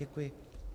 Děkuji.